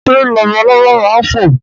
Ṣé labalábá ma ń fò?